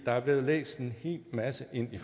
er blevet læst en hel masse ind i